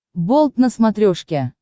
болт на смотрешке